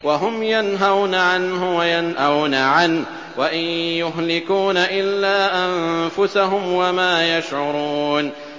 وَهُمْ يَنْهَوْنَ عَنْهُ وَيَنْأَوْنَ عَنْهُ ۖ وَإِن يُهْلِكُونَ إِلَّا أَنفُسَهُمْ وَمَا يَشْعُرُونَ